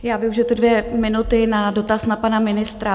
Já využiji ty dvě minuty na dotaz na pana ministra.